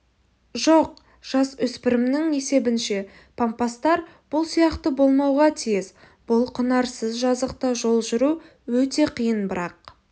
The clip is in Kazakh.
жоқ жасөспірімнің есебінше пампастар бұл сияқты болмауға тиіс бұл құнарсыз жазықта жол жүру өте қиын бірақ